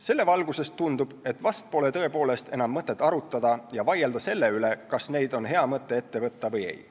Selle valguses tundub, et vast pole tõepoolest enam mõtet arutada ja vaielda selle üle, kas on hea mõte neid ette võtta või ei.